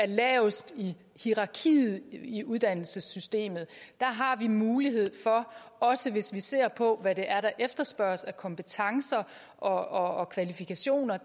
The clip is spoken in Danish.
lavest i hierarkiet i uddannelsessystemet der har vi mulighed for også hvis vi ser på hvad der efterspørges af kompetencer og kvalifikationer